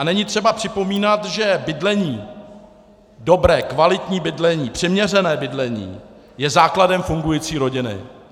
A není třeba připomínat, že bydlení, dobré, kvalitní bydlení, přiměřené bydlení je základem fungující rodiny.